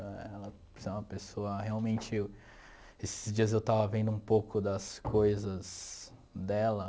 Ela é uma pessoa realmente... Esses dias eu estava vendo um pouco das coisas dela.